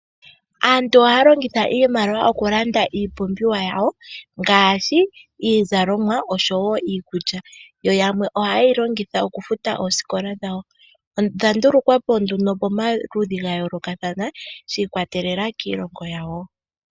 Aantu ohaya longitha iimaliwa oku landa iipumbiwa yawo ngaashi iizalomwa oshowo iikulya, yo yamwe ohaye yi longitha oku futa oosikola dhawo, odha ndulukwa po nduno pamaludhi ga yoolokathana shi ikwatelela kiilongo yawo.